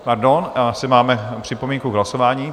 Pardon, asi máme připomínku k hlasování.